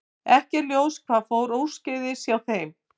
Ekki er ljóst hvað fór úrskeiðis hjá þeim.